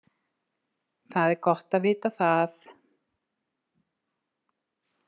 Það er gott að vita það.